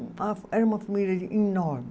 A era uma família enorme.